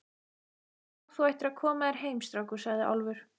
Já, þú ættir að koma þér heim, strákur, sagði Álfur.